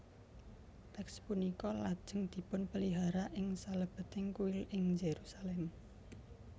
Teks punika lajeng dipunpelihara ing salebeting Kuil ing Yerusalem